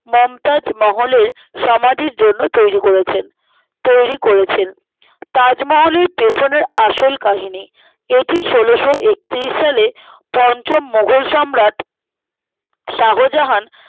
মমতাজ মহলের সমাধির জন্য তৈরী করেছেন তৈরী করেছেন তাজমহলের পেছনে আসল কাহিনী এটি ষোলোশোএকত্রিশ সালে পঞ্চম মোঘল সম্রাট শাহজাহান